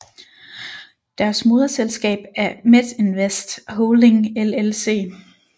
Deres moderselskab er Metinvest Holding LLC